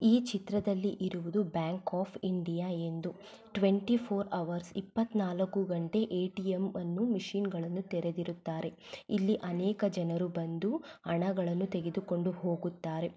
ಈ ಚಿತ್ರದಲ್ಲಿ ಇರುವುದು ಬ್ಯಾಂಕ್ ಆಫ್ ಇಂಡಿಯಾ ಎಂದು ಟ್ವೆಂಟಿ ಫೋರ್ ಹವರ್ಸ್ ಎಪ್ಪತ್ನಾಲಕ್ಕೂ ಗಂಟೆ ಎ ಟಿ ಎಂ ಅನ್ನು ಮಿಷನ್ ಗಳನ್ನೂ ತೆರೆದಿರುತ್ತಾರೆ ಇಲ್ಲಿ ಅನೇಕ ಜನರು ಬಂದು ಹಣಗಳನ್ನು ತೆಗೆದುಕೊಂಡು ಹೋಗುತ್ತಾರೆ.